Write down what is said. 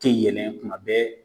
Tɛ yɛlɛ kuma bɛɛ.